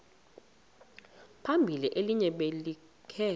phambili elinye libheke